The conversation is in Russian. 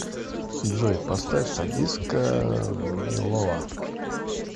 джой поставь садистка нмилова